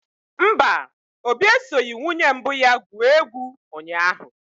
Mba, Obi esoghị nwunye mbụ ya gwuo egwu ụnyahụ.